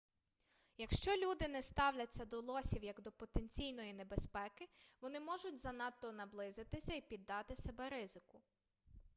якщо люди не ставляться до лосів як до потенційної небезпеки вони можуть занадто наблизитися і піддати себе ризику